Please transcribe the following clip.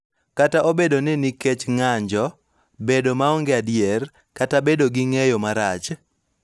Kata obedo ni nikech ng�anjo, bedo maonge adier, kata bedo gi ng�eyo marach�